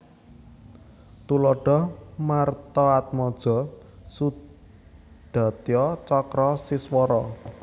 Tuladha Martaatmaja Sudatya Cakra Siswara